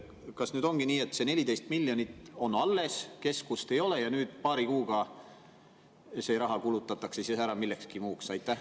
Kas ongi nii, et see 14 miljonit on alles, keskust ei ole ja paari kuuga see raha kulutatakse ära millekski muuks?